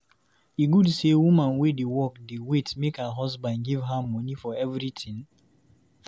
E good sey woman wey dey work dey wait make her husband give her moni for everytin?